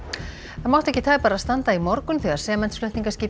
það mátti ekki tæpara standa í morgun þegar